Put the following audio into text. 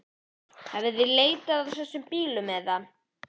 Hafið þið leitað að þessum bílum eða?